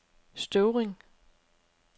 Støvring